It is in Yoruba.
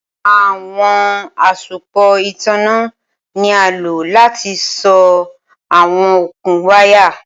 Awọn asopọ itanna ni a lo lati so awọn okun waya.